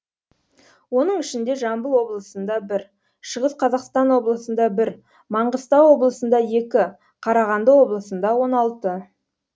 оның ішінде жамбыл облысында бір шығыс қазақстан облысында бір маңғыстау облысында екі қарағанды облысында он алты